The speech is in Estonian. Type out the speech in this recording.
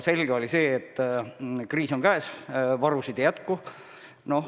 Aga oli selge, et kriis on käes, varusid ei jätku.